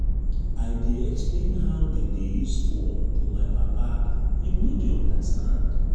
i dey explain how dem dey use fone to my papa him no dey understand.